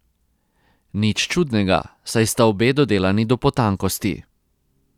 Nič čudnega, saj sta obe dodelani do potankosti.